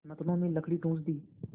नथनों में लकड़ी ठूँस दी